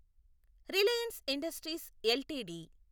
Reliance Industries LTD